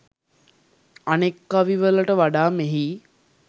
අනෙක් කවිවලට වඩා මෙහි